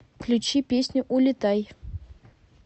включи песню улетай